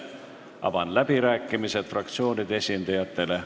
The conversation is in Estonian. Avan läbirääkimised fraktsioonide esindajatele.